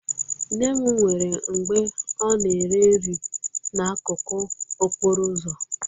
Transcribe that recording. Nne m nwere mgbe ọ na-ere nri n'akụkụ okporo ụzọ